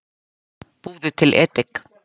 Búðu til edik